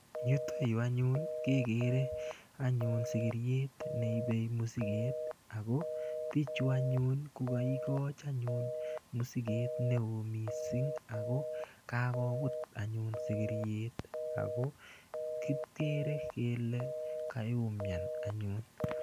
Right here we see a donkey carrying luggage and these people gave a very big luggage and the donkey has fallen and we see that it is suffering.